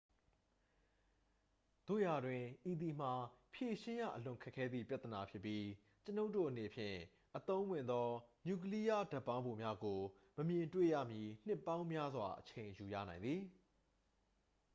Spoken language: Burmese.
သို့ရာတွင် ဤသည်မှာ ဖြေရှင်းရအလွန်ခက်ခဲသည့် ပြဿနာဖြစ်ပြီး ကျွန်ုပ်တို့အနေဖြင့် အသုံးဝင်သော နျူကလီးယားဓာတ်ပေါင်းဖိုများကို မမြင်တွေ့ရမီ နှစ်ပေါင်းများစွာ အချိန်ယူရနိုင်သည်